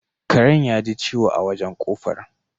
Karen yaji ciwo a wajen ƙofar